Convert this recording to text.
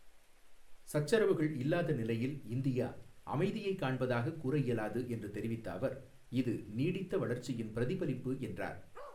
சச்சரவுகள் இல்லாத நிலையில் இந்தியா, அமைதியை காண்பதாக கூறஇயலாது என்று தெரிவித்த அவர், இது நீடித்த வளர்ச்சியின் பிரதிபலிப்பு என்றார்.